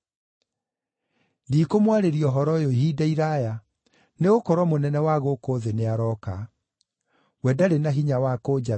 Ndikũmwarĩria ũhoro ũyũ ihinda iraaya, nĩgũkorwo mũnene wa gũkũ thĩ nĩarooka. We ndarĩ na hinya wa kũnjatha,